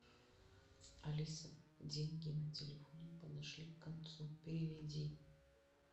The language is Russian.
алиса деньги на телефоне подошли к концу переведи